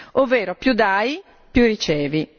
Ovvero, più dai, più ricevi.